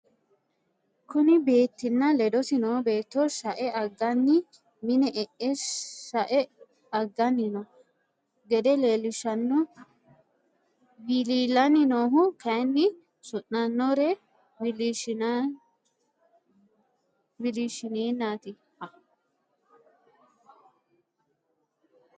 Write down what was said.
Kuni beetti nna ledosi noo beetto shae anganni mine e'e shae agganni noo gede leellishshanno wiliilanni nohu kayin suu'nannore wiliishshineennat.